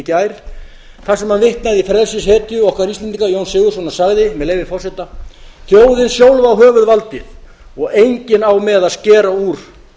gær þar sem hann vitnaði í frelsishetju okkar íslendinga jón sigurðsson og sagði með leyfi forseta þjóðin sjálf á höfuðvaldið og enginn á með að skera úr